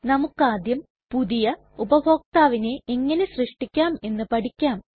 നമ്മുക്കാദ്യം പുതിയ ഉപഭോക്താവിനെ എങ്ങനെ സൃഷ്ടിക്കാം എന്ന് പഠിക്കാം